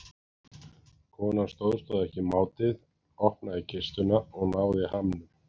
Konan stóðst þá ekki mátið, opnaði kistuna og náði hamnum.